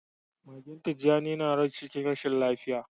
Magen tijani yana rash cikin rashin lafiya.